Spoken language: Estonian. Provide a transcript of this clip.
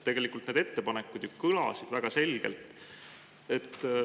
Tegelikult need ettepanekud kõlasid ju väga selgelt.